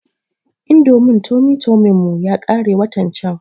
Indomin tomi tomin mu yakare watan can